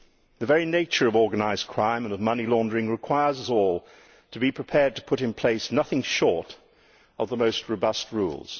The very nature of organised crime and of money laundering requires us all to be prepared to put in place nothing short of the most robust rules.